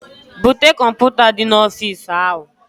Bute kọmputa di na ofis ahu